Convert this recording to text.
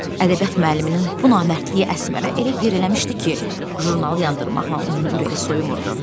Ədəbiyyat müəlliminin bu namərdliyi Əsmərə elə yer eləmişdi ki, jurnalı yandırmaqla onun ürəyi soyumurdu.